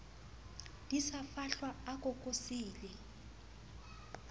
di sa fahlwa a kokosile